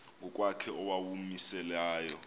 ngokwakhe owawumise layo